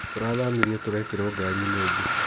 Tũrathamĩirio tũrekerwo gari-inĩ ĩngĩ.